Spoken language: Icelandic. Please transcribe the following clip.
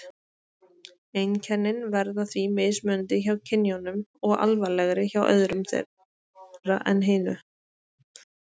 Einkennin verða því mismunandi hjá kynjunum og alvarlegri hjá öðru þeirra en hinu.